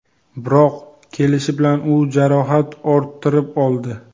Biroq kelishi bilan u jarohat orttirib oldi.